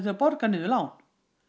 borga niður lán